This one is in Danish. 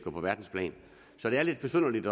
og på verdensplan så det er lidt besynderligt